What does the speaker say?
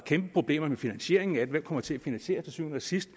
kæmpe problemer med finansieringen af det hvem kommer til syvende og sidst